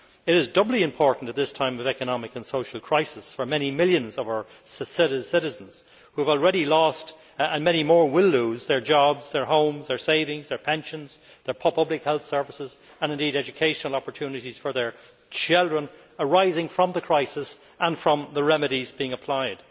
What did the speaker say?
It is doubly important at this time of economic and social crisis for many millions of our citizens who have already lost, and many more who will lose, their jobs, their homes, their savings, their pensions, their public health services and, indeed, educational opportunities for their children because of the crisis and the remedies being applied.